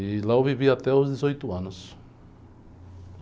E lá eu vivi até os dezoito anos.